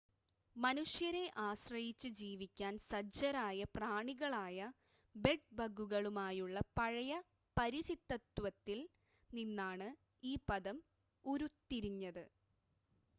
മനുഷ്യരെ ആശ്രയച്ച് ജീവിക്കാൻ സജ്ജരായ പ്രാണികളായ ബെഡ്-ബഗുകളുമായുള്ള പഴയ പരിചിതത്വത്തിൽ നിന്നാണ് ഈ പദം ഉരുത്തിരിഞ്ഞത്